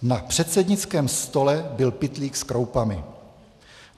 Na předsednickém stole byl pytlík s kroupami.